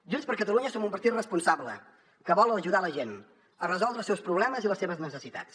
junts per catalunya som un partit responsable que vol ajudar la gent a resoldre els seus problemes i les seves necessitats